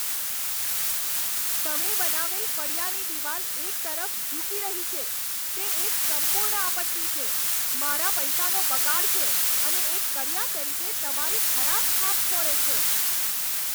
તમે બનાવેલ ફળિયાની દીવાલ એક તરફ ઝૂકી રહી છે, તે એક સંપૂર્ણ આપત્તિ છે, મારા પૈસાનો બગાડ છે અને એક કડિયા તરીકે તમારી ખરાબ છાપ છોડે છે.